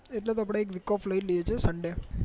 એટલે તો આપડે એક week of લઇ લિયે છે sunday